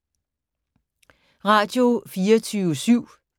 Radio24syv